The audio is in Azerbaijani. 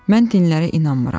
Mən dinlərə inanmıram.